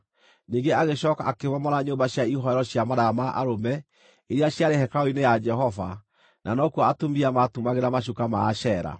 Ningĩ agĩcooka akĩmomora nyũmba cia ihooero cia maraya ma arũme, iria ciarĩ hekarũ-inĩ ya Jehova, na nokuo atumia maatumagĩra macuka ma Ashera.